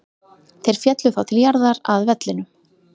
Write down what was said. Þeir féllu þá til jarðar, að vellinum.